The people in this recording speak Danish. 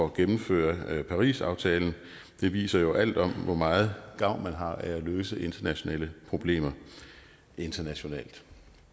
at gennemføre parisaftalen det viser jo alt om hvor meget gavn man har af at løse internationale problemer internationalt